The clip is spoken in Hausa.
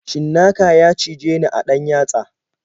Cinnaka ya cijeni a ɗan yatsa.